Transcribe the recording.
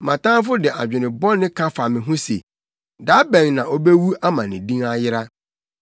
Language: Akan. Mʼatamfo de adwene bɔne ka fa me ho se: “Da bɛn na obewu ama ne din ayera?”